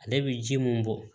Ale bɛ ji mun bɔ